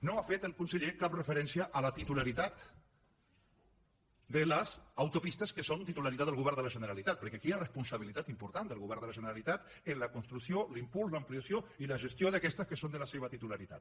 no ha fet el conseller cap referència a la titularitat de les autopistes que són titularitat del govern de la generalitat perquè aquí hi ha una responsabilitat important del govern de la generalitat en la construcció l’impuls l’ampliació i la gestió d’aquestes que són de la seva titularitat